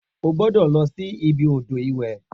O gbọ́dọ̀ lọ sí ibi odò ìwẹ̀